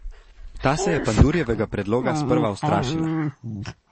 Ta se je Pandurjevega predloga sprva ustrašila.